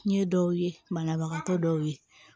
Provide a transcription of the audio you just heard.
Ɲɛ dɔw ye banabagatɔ dɔw ye